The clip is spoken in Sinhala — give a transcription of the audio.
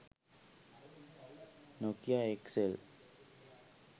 nokia xl